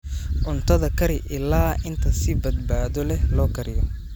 Cuntada kari ilaa inta si badbaado leh loo kariyo.